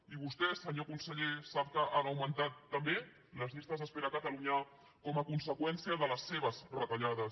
i vostè senyor conseller sap que han augmentat també les llistes d’espera a catalunya com a conseqüència de les seves retallades